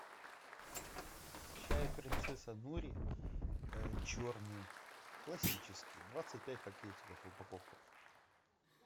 чай принцесса нури черный классический двадцать пять пакетиков упаковка